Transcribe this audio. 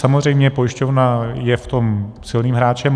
Samozřejmě pojišťovna je v tom silným hráčem.